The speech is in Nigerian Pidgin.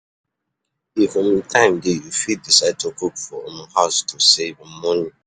If um time dey you fit decide to cook for um house to save um money